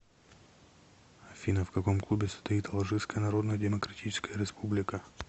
афина в каком клубе состоит алжирская народная демократическая республика